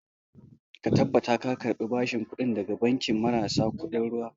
Ka tabbatar ka karɓi bashin kuɗi daga banki marasa kuɗin ruwa